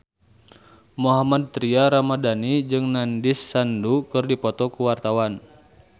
Mohammad Tria Ramadhani jeung Nandish Sandhu keur dipoto ku wartawan